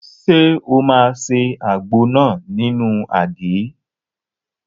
Ṣé o máa se àgbo náà nínú àgé?